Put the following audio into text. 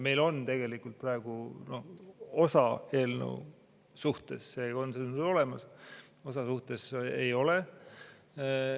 Meil on praegu osa eelnõu suhtes see olemas, osa suhtes ei ole.